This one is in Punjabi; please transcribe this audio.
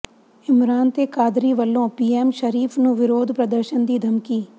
ਇਮਰਾਨ ਤੇ ਕਾਦਰੀ ਵੱਲੋਂ ਪੀਐਮ ਸ਼ਰੀਫ਼ ਨੂੰ ਵਿਰੋਧ ਪ੍ਰਦਰਸ਼ਨ ਦੀ ਧਮਕੀ